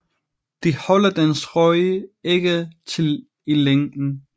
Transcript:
Det holder dens ryg ikke til i længden